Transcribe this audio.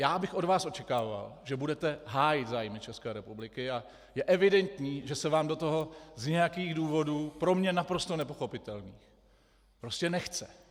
Já bych od vás očekával, že budete hájit zájmy České republiky, a je evidentní, že se vám do toho z nějakých důvodů pro mne naprosto nepochopitelných prostě nechce.